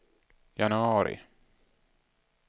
januari